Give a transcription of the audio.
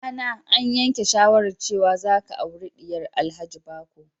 Dana, an yanke shawarar cewa za ka auri diyar Alhaji Bako.